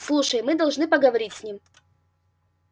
слушай мы должны поговорить с ним